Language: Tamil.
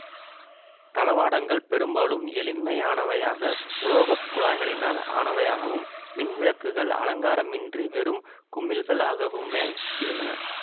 தளவாடங்கள் பெரும்பாலும் எளிமையானவையாக உலோக குழாய்களினால் ஆனவையாகவும் மின்விளக்குகள் அலங்காரம் இன்றி வெறும் குமிழ்களாகவுமே இருந்தன